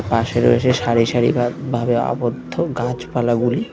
পাশে রয়েছে সারি সারি ভাব ভাবে আবদ্ধ গাছপালাগুলি।